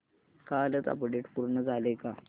कालचं अपडेट पूर्ण झालंय का